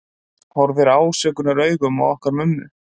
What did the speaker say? Horfir ásökunaraugum á okkur mömmu.